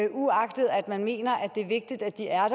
man mener det er vigtigt at de er